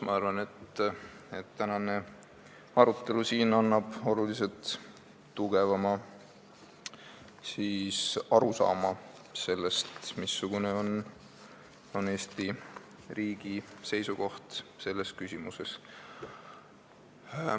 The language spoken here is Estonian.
Ma arvan, et tänane arutelu siin annab oluliselt tugevama arusaama sellest, missugune on Eesti riigi seisukoht selles küsimuses.